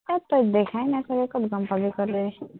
এৰ তই দেখাই নাই চাগে, ক'ত গম পাবি ক'লে?